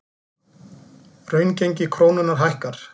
Raungengi krónunnar hækkar